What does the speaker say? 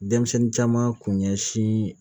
Denmisɛnnin caman kun ɲɛsin